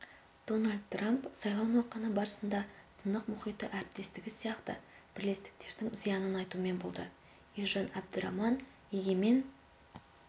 дональд трамп сайлау науқаны барысында тынық мұхиты әріптестігі сияқты бірлестіктердің зиянын айтумен болды ержан әбдіраман егемен